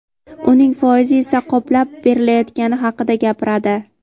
uning foizi esa qoplab berilayotgani haqida gapiradi.